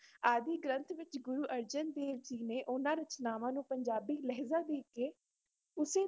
ਆਦਿ ਗ੍ਰੰਥ ਵਿੱਚ ਗੁਰੂ ਅਰਜਨ ਦੇਵ ਜੀ ਨੇ ਉਨ੍ਹਾਂ ਰਚਨਾਵਾਂ ਨੂੰ ਪੰਜਾਬੀ ਲਹਿਜ਼ਾ ਦੇ ਕੇ ਉਸੇ